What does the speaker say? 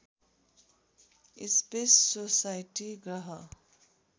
space society ग्रह